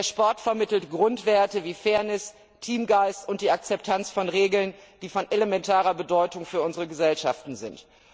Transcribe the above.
Der Sport vermittelt Grundwerte wie Fairness, Teamgeist und die Akzeptanz von Regeln, die von elementarer Bedeutung für unsere Gesellschaften sind.